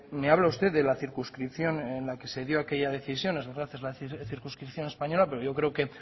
me habla usted de la circunscripción en la que se dio aquella decisión circunscripción española pero yo creo que